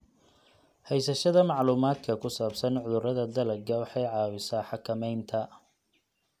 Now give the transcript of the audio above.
Haysashada macluumaadka ku saabsan cudurrada dalagga waxay caawisaa xakamaynta.